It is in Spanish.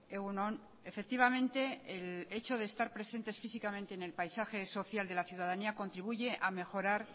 egun on efectivamente el hecho de estar presentes físicamente en el paisaje social de la ciudadanía contribuye a mejorar